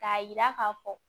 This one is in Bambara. K'a yira k'a fɔ